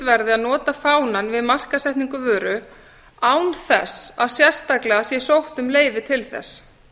verði að nota fánann við markaðssetningu vöru án þess að sérstaklega sé sótt um leyfi til þess